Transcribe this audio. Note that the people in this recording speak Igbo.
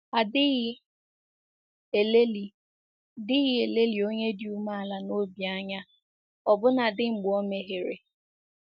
A dịghị elelị dịghị elelị onye dị umeala n’obi anya ọbụnadi mgbe o mehiere.